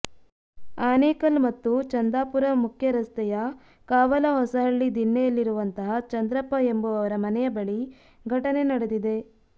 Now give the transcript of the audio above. ಆನೇಕಲ್ ಮತ್ತು ಚಂದಾಪುರ ಮುಖ್ಯ ರಸ್ತೆಯ ಕಾವಲಹೊಸಹಳ್ಳಿ ದಿಣ್ಣೆಯಲ್ಲಿರುವಂತಹ ಚಂದ್ರಪ್ಪ ಎಂಬುವವರ ಮನೆಯ ಬಳಿ ಘಟನೆ ನಡೆದಿದೆ